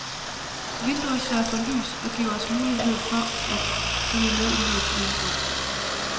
Vinduer sørger for lys og giver os muligheder for at følge med i livet udenfor.